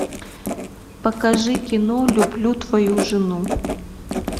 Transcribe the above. покажи кино люблю твою жену